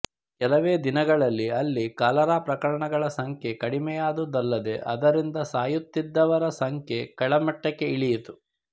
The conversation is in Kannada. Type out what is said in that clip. ಕೆಲವೇ ದಿನಗಳಲ್ಲಿ ಅಲ್ಲಿ ಕಾಲರಾ ಪ್ರಕರಣಗಳ ಸಂಖ್ಯೆ ಕಡಿಮೆಯಾದುದಲ್ಲದೇ ಅದರಿಂದ ಸಾಯುತ್ತಿದವರ ಸಂಖ್ಯೆ ಕೆಳಮಟ್ಟಕ್ಕೆ ಇಳಿಯಿತು